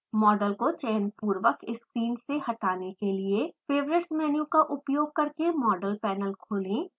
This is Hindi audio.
मॉडल को चयनपुर्वक स्क्रीन से हटाने के लिए: favorites मेनू का उपयोग करके मॉडल पैनल खोलें